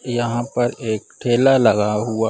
यहाँ पर एक ठेला लगा हुआ --